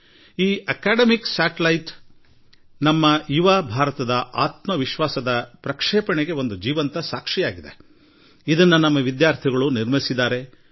ಈ ಹಾದಿಯಲ್ಲಿ ಈ ಶೈಕ್ಷಣಿಕ ಉಪಗ್ರಹ ಒಂದು ರೀತಿಯಲ್ಲಿ ಯುವ ಭಾರತದ ಉತ್ಸಾಹದ ಉಡ್ಡಯನಕ್ಕೆ ಮತ್ತು ಮಹತ್ವಾಕಾಂಕ್ಷೆಗೆ ಜೀವಂತ ಉದಾಹರಣೆಯಾಗಿದೆ ಮತ್ತು ಇದನ್ನು ನಮ್ಮ ವಿದ್ಯಾರ್ಥಿಗಳು ನಿರ್ಮಿಸಿದ್ದಾರೆ